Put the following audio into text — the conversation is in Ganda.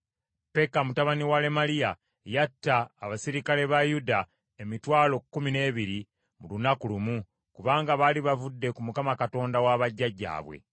Peka mutabani wa Lemaliya yatta abaserikale ba Yuda emitwalo kkumi n’ebiri mu lunaku lumu, kubanga baali bavudde ku Mukama Katonda wa bajjajjaabwe.